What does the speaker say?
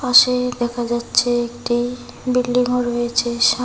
দেখা যাচ্ছে একটি বিল্ডিংও রয়েছে সাম--